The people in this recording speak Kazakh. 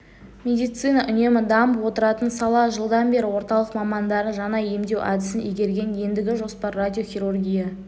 медицина үнемі дамып отыратын сала жылдан бері орталық мамандары жаңа емдеу әдісін игерген ендігі жоспар радиохирургия